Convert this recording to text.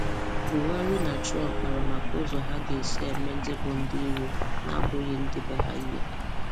Buhari na Trump kpara maka ụzọ ha ga-esi eme ndị bụ ndị íro na-abụghị ndị be ha íhé